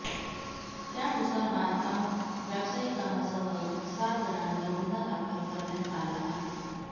त्यानुसार बांधकाम व्यावसायिकासह सात जणांवर गुन्हा दाखल करण्यात आला आहे